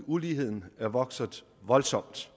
uligheden er vokset voldsomt